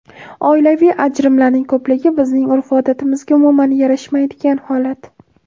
Oilaviy ajrimlarning ko‘pligi bizning urf-odatimizga umuman yarashmaydigan holat.